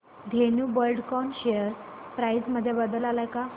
Dhenu Buildcon share price मध्ये बदल आलाय का